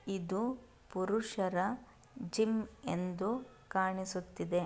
ಇದು ಪುರುಷರ ಜುಮ್ ಅಂತೆ ಕಾಣುತಿದೆ.